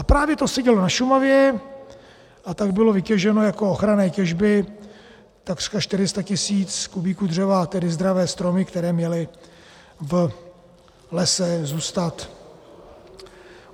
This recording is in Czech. A právě to se dělo na Šumavě, a tak bylo vytěženo jako ochranné těžby takřka 400 tisíc kubíků dřeva, tedy zdravé stromy, které měly v lese zůstat.